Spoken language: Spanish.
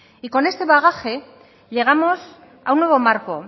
y con este bagaje llegamos a un nuevo marco